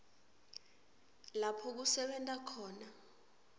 lapho kusebenta khona